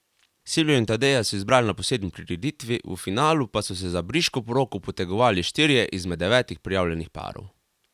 Silvijo in Tadeja so izbrali na posebni prireditvi, v finalu pa so se za briško poroko potegovali štirje izmed devetih prijavljenih parov.